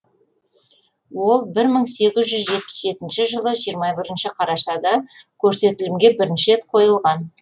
ол бір мың сегіз жүз жетпіс жетінші жылы жиырма бірінші қарашада көрсетілімге бірінші рет қойылған